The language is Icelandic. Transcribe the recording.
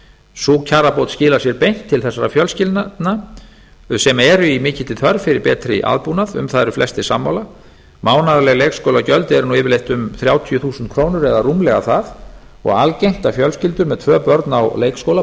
sú kjarabót skilar sér beint til þessara fjölskyldna sem eru í mikilli þörf fyrir betri aðbúnað um það eru flestir sammála mánaðarleg leikskólagjöld eru nú yfirleitt um þrjátíu þúsund krónur eða rúmlega það og algengt að fjölskyldur með tvö börn á leikskóla